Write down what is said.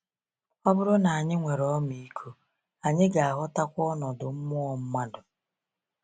Ọ bụrụ na anyị nwere ọmịiko, anyị ga-aghọtakwa ọnọdụ mmụọ mmadụ.